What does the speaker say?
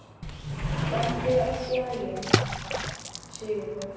Gangi þér allt í haginn, Sigurfljóð.